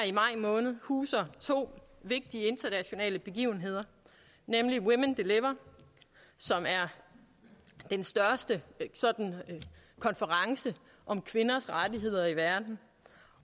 i maj måned huser to vigtige internationale begivenheder nemlig women deliver som er den største konference om kvinders rettigheder i verden